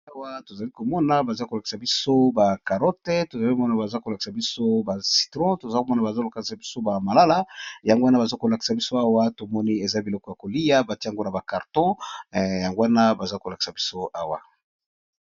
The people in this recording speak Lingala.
Awa tozali komona baza kolakisa biso ba karote ,tozo mona baza kolakisa biso ba citron, toza komona baza kolakisa biso ba malala ,yango wana baza kolakisa biso awa tomoni eza biloko ya kolia batie yango na ba karton yango wana baza kolakisa biso awa.